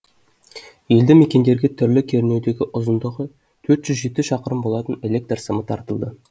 елді мекендерге түрлі кернеудегі ұзындығы төрт жүз жеті шақырым болатын электр сымы тартылды